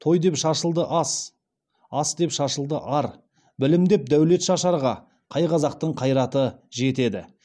той деп шашылды ас ас деп шашылды ар білім деп дәулет шашарға қай қазақтың қайраты жетеді